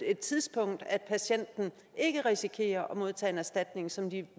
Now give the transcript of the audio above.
et tidspunkt at patienten ikke risikerer at modtage en erstatning som det